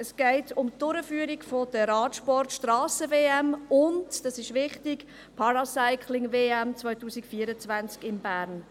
Es geht um die Durchführung der Radsport-Strassen-WM und – das ist wichtig – der Paracycling-WM 2024 in Bern.